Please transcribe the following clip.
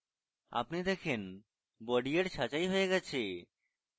আপনি দেখেন body এর ছাঁটাই হয়ে গেছে